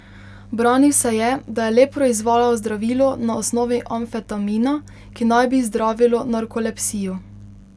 Branil se je, da je le proizvajal zdravilo na osnovi amfetamina, ki naj bi zdravilo narkolepsijo.